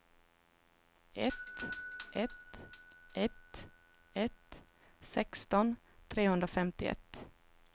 ett ett ett ett sexton trehundrafemtioett